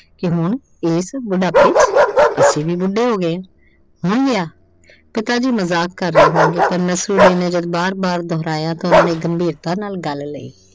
ਕਿ ਹੁਣ ਏਸ ਬੁਢਾਪੇ ਚ। ਅਸੀਂ ਵੀ ਬੁੱਢੇ ਹੋ ਗਏ ਆਂ। ਹੁਣ ਵਿਆਹ। ਪਿਤਾ ਜੀ ਮਜ਼ਾਕ ਕਰ ਰਹੇ ਹੋਣਗੇ, ਪਰ ਨਸੂਦੀਨ ਨੇ ਜਦੋਂ ਬਾਰ-ਬਾਰ ਦੁਹਰਾਇਆ ਤਾਂ ਉਹਨਾਂ ਨੇ ਗੰਭੀਰਤਾ ਨਾਲ ਗੱਲ ਲਈ।